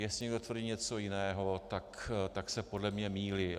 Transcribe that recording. Jestli někdo tvrdí něco jiného, tak se podle mě mýlí.